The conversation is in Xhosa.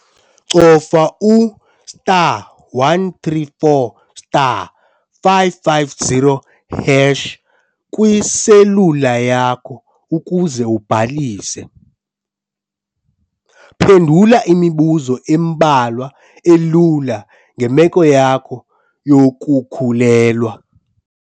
Cofa u-star 134 star 550 hash kwiselula yakho ukuze ubhalise. Phendula imibuzo embalwa elula ngemeko yakho yokukhulelwa.